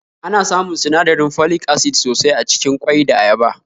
Ana samun sinadirin folic acid sosai acikin ƙwai da ayaba